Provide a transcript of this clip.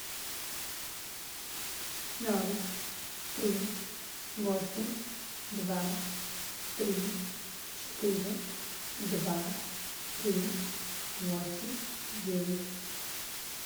ноль три восемь два три четыре два три восемь девять